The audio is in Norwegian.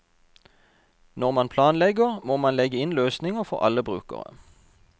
Når man planlegger, må man legge inn løsninger for alle brukere.